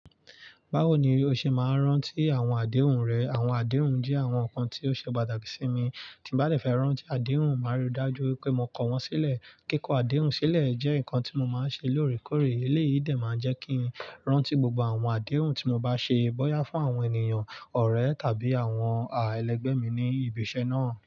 Báwo ni o ṣe máa rán tí àwọn àdéhùn rẹ? Àwọn àdéhùn jẹ́ àwọn nǹkan tí ó ṣe pàtàkì sí mi. Tí ba fe de fẹ́ rántí àdéhùn, màá rí i dájú pé mo kọ wọ́n sílẹ̀. Kíkọ àdéhùn sílẹ̀ jẹ́ nǹkan tí mo máa ń ṣe lóòrèkóòrè. Èléyìí dẹ̀ máa ń jẹ́ kí n rántí gbogbo àwọn àdéhùn tí mo bá ṣe bóyá fún àwọn ènìyàn ọ̀rẹ́ tàbí àwọn àwọn ẹlẹgbẹ́ mi ní ibi iṣẹ́ náà.